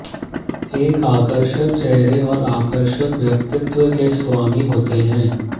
एक आकर्षक चेहरे और आकर्षक व्यक्तित्व के स्वामी होते हैं